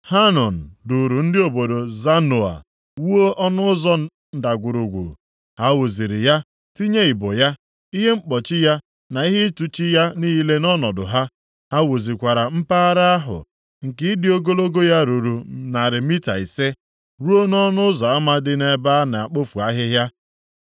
Hanun duuru ndị obodo Zanoa wuo Ọnụ Ụzọ Ndagwurugwu. Ha wuziri ya, tinye ibo ya, ihe mkpọchi ya na ihe ntụchi ya niile nʼọnọdụ ha. Ha wuzikwara mpaghara ahụ nke ịdị ogologo ya ruru narị mita ise, ruo nʼọnụ ụzọ ama dị nʼebe a na-ekpofu ahịhịa.